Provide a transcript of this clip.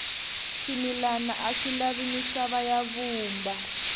swimilana aswi lavi misava ya vumba